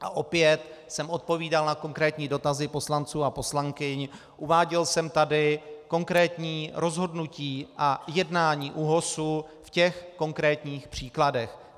A opět jsem odpovídal na konkrétní dotazy poslanců a poslankyň, uváděl jsem tady konkrétní rozhodnutí a jednání ÚOHS v těch konkrétních případech.